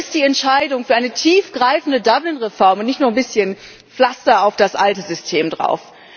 Wo ist die Entscheidung für eine tiefgreifende Dublin Reform, und nicht nur bisschen Pflaster auf das alte System drauf?